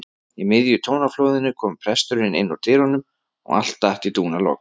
Í miðju tónaflóðinu kom presturinn innúr dyrunum og allt datt í dúnalogn.